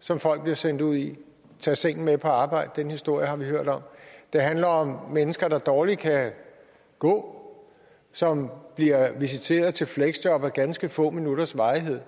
som folk bliver sendt ud i tag sengen med på arbejde den historie har vi hørt om det handler om mennesker der dårligt kan gå som bliver visiteret til fleksjob af ganske få minutters varighed